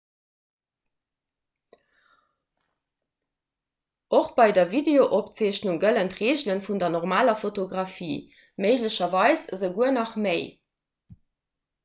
och bei der videosopzeechnung gëllen d'reegele vun der normaler fotografie méiglecherweis esouguer nach méi